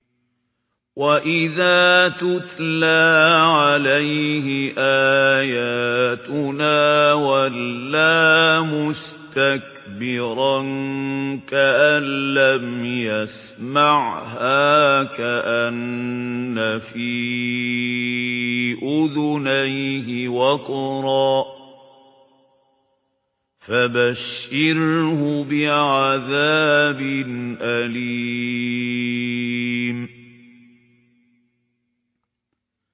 وَإِذَا تُتْلَىٰ عَلَيْهِ آيَاتُنَا وَلَّىٰ مُسْتَكْبِرًا كَأَن لَّمْ يَسْمَعْهَا كَأَنَّ فِي أُذُنَيْهِ وَقْرًا ۖ فَبَشِّرْهُ بِعَذَابٍ أَلِيمٍ